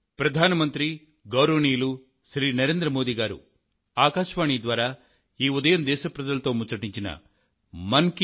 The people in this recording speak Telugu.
ప్రియమైన నా దేశ ప్రజలారా